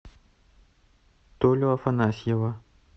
толю афанасьева